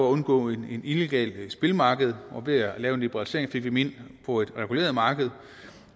at undgå et illegalt spilmarked og ved at lave en liberalisering fik vi dem på et reguleret marked